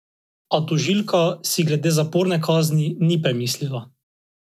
A tožilka si glede zaporne kazni ni premislila.